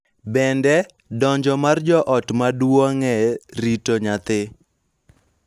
Bende, donjo mar jo ot maduong� e rito nyathi .